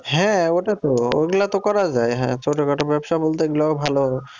হ্যাঁ ওটা তো, ওগুলো তো করা যাই হ্যাঁ ছোটোখাটো ব্যবসা বলতে এগুলোও ভালো।